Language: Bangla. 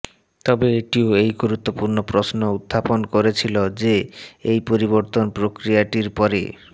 তবে এটিও এই গুরুত্বপূর্ণ প্রশ্ন উত্থাপন করেছিল যে এই পরিবর্তন প্রক্রিয়াটির পরে